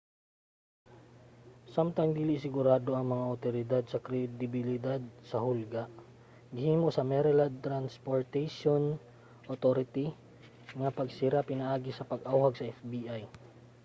samtang dili sigurado ang mga awtoridad sa kredibilidad sa hulga gihimo sa maryland transportaion authority ang pagsira pinaagi sa pag-awhag sa fbi